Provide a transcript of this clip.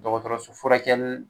Dɔgɔtɔrɔso furakɛli